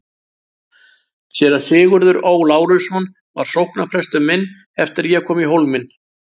Séra Sigurður Ó. Lárusson var sóknarprestur minn eftir að ég kom í Hólminn.